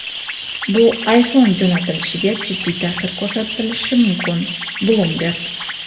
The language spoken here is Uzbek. bu iPhone jo‘natilishiga jiddiy ta’sir ko‘rsatishi mumkin – "Bloomberg".